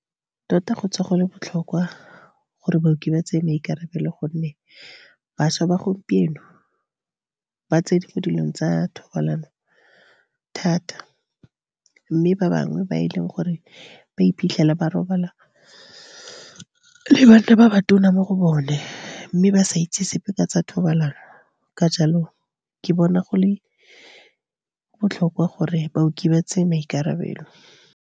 Tota, go tswa go le botlhokwa gore baoki ba tseye maikarabelo, gonne bašwa ba gompieno ba tsene mo dilong tsa thobalano thata. Mme ba bangwe ba e leng gore ba iphitlhela ba robala le banna ba ba tona mo go bone, mme ba sa itse sepe ka tsa thobalano. Ka jalo, ke bona go le botlhokwa gore baoki ba tseye maikarabelo.